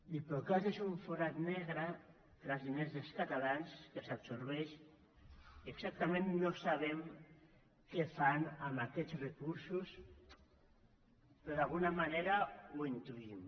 diplocat és un forat negre per als diners dels catalans que s’absorbeixen exactament no sabem què fan amb aquests recursos però d’alguna manera ho intuïm